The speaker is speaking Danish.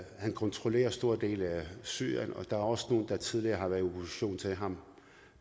han kontrollerer store dele af syrien og der er også nogle der tidligere har været i opposition til ham